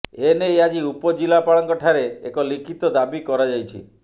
ଏନେଇ ଆଜି ଉପଜିଲ୍ଲାପାଳଙ୍କ ଠାରେ ଏକ ଲିଖିତ ଦାବି କରାଯାଇଛି